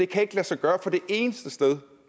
kan lade sig gøre fordi eneste sted